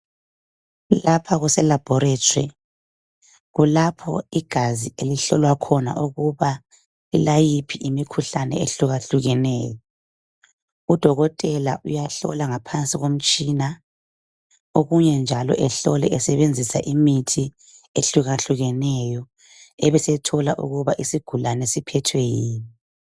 Lapha kuseLaboratory kulapho okuhlolwa khona igazi ukuthi lilayiphi imikhuhlane ehlukahlukeneyo udokotela uyahlola ngaphansi komtshina okunye njalo ehlole esebenzisa imithi ehlukeneyo ebesethola ukubana isigulani siphethwe yini